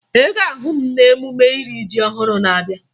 Ị ga-ahụ m n'emume iri ji ọhụrụ na-abịa